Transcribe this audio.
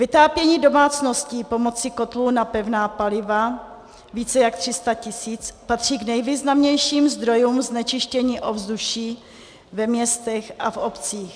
Vytápění domácností pomocí kotlů na pevná paliva, více jak 300 tisíc, patří k nejvýznamnějším zdrojům znečištění ovzduší ve městech a v obcích.